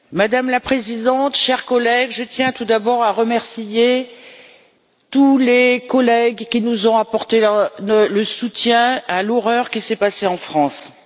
Madame la Présidente, chers collègues, je tiens tout d'abord à remercier tous les collègues qui nous ont apporté leur soutien face à l'horreur que la France a connue.